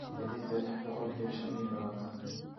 xididka lix boqol iyo shan iyo labaatan